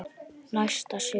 Næsta sumar.